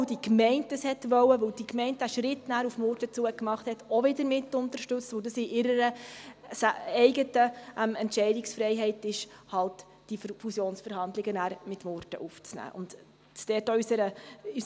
Weil die Gemeinde dies wollte, weil die Gemeinde diesen Schritt auf Murten zu gemacht hat, und weil es in ihrer eigenen Entscheidungsfreiheit liegt, diese Fusionsverhandlungen mit Murten aufzunehmen, haben wir sie dann auch wieder mitunterstützt.